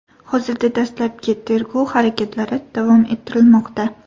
Hozirda dastlabki tergov harakatlari davom ettirilmoqda.